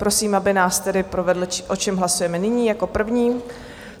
Prosím, aby nás tedy provedl, o čem hlasujeme nyní jako první.